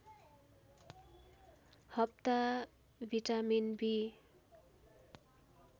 हप्ता भिटामिन बि